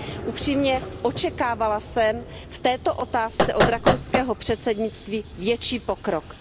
Upřímně, očekávala jsem v této otázce od rakouského předsednictví větší pokrok.